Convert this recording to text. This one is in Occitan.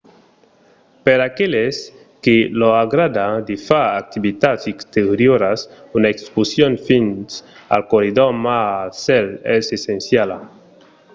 per aqueles que lor agrada de far d'activitats exterioras una excursion fins al corridor mar a cèl es essenciala